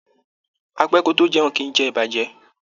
A pẹ́ kò tó jẹun, kìí jẹ ìbàjẹ́.